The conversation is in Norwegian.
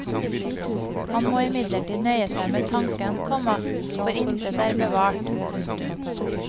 Han må imidlertid nøye seg med tanken, komma for intet er bevart. punktum